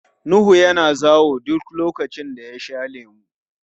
Nuhu yana zawo duk lokacin da ya sha lemu.